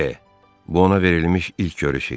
Bu ona verilmiş ilk görüş idi.